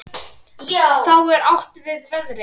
Þá er átt við veðrið.